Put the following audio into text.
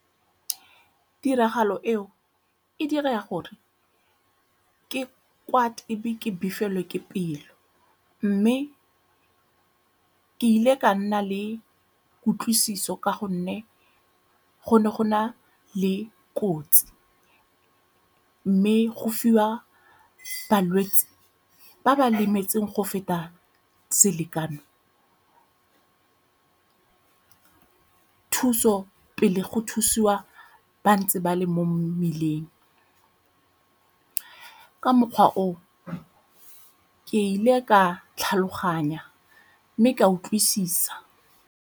Tiragalo eo e dira gore ke kwate e be ke befelwe ke pelo mme ke ile ka nna le kutlwisiso ka gonne go ne go na le kotsi. Mme go fiwa balwetse ba ba lemetseng go feta selekano thuso pele go thusiwa ba ntse ba le mo mmeleng. Ka mokgwa oo ke ile ka tlhaloganya mme ka utlwisisa.